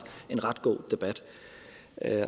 en ret god debat